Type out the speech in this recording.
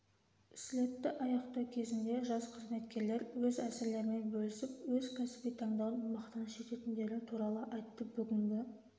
слетті аяқтау кезінде жас қызметкерлер өз әсерлерімен бөлісіп өз кәсіби таңдауын мақтаныш ететіндері туралы айтты бүгінгі